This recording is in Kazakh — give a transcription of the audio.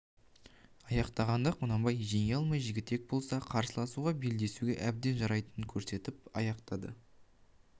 аяқтағанда құнанбай жеңе алмай жігітек болса қарсыласуға белдесуге әбден жарайтынын көрсетіп аяқтады